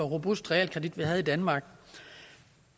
robust realkredit vi havde i danmark